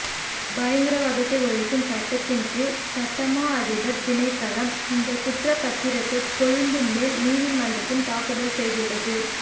பயங்கரவாதத்தை ஒழிக்கும் சட்டத்தின் கீழ் சட்டமா அதிபர் திணைக்களம் இந்த குற்றப்தத்திரத்தை கொழும்பு மேல் நீதிமன்றத்தில் தாக்கல் செய்துள்ளது